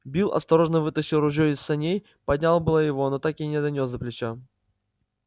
билл осторожно вытащил ружье из саней поднял было его но так и не донёс до плеча